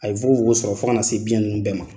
A ye nfukofokon sɔrɔ fɔ ka na se biɲɛn ninnu bɛɛ ma.